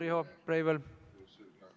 Riho Breivel!